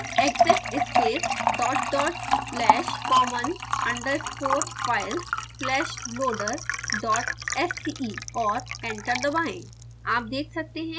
फिर टाइप करें: exec space dot dot slash common underscore files slash loader dot sce और enter दबाएँ